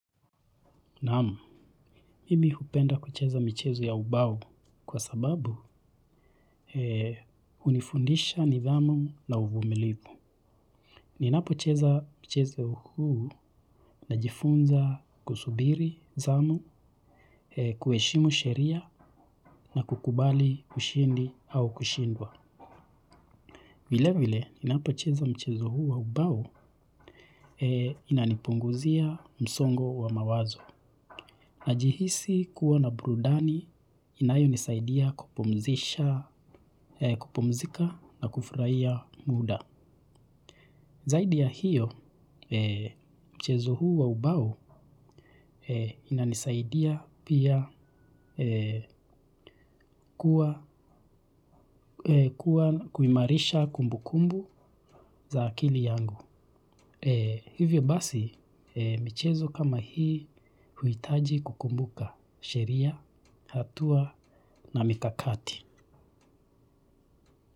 Namu, mimi hupenda kucheza michezo ya ubao kwa sababu unifundisha nidhamu na uvumilivu. Ninapo cheza mchezo huu na jifunza kusubiri zamu, kueshimu sheria na kukubali ushindi au kushindwa. Vile vile, ninapo cheza mchezo huu ya ubao inanipunguzia msongo wa mawazo. Najihisi kuwa na burudani inayo nisaidia kupumzika na kufraia muda. Zaidi ya hiyo, mchezo huu wa ubao ina nisaidia pia kuwa kuimarisha kumbukumbu za akili yangu. Hivyo basi, michezo kama hii huitaji kukumbuka sheria, hatua na mikakati.